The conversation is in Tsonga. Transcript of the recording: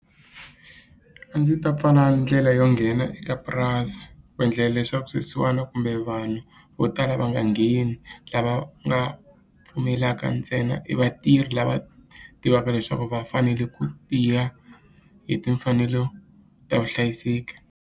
A ndzi ta pfala ndlela yo nghena eka purasi ku endlela leswaku swisiwana kumbe vanhu vo tala va nga ngheni lava nga pfumelaka ntsena i vatirhi lava tivaka leswaku va fanele ku tiya hi timfanelo ta vuhlayiseki.